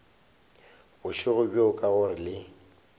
bošego bjo ka gore le